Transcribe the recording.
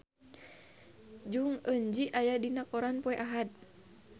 Jong Eun Ji aya dina koran poe Ahad